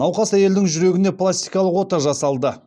науқас әйелдің жүрегіне пластикалық ота жасалды